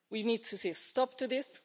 We need to see a stop to this.